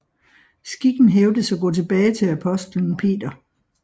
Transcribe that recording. Skikken hævdes at gå tilbage til apostelen Peter